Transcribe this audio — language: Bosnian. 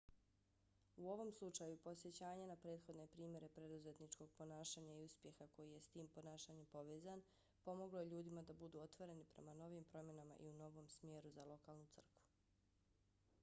u ovom slučaju podsjećanje na prethodne primjere preduzetničkog ponašanja i uspjeha koji je s tim ponašanjem povezan pomoglo je ljudima da budu otvoreni prema novim promjenama i novom smjeru za lokalnu crkvu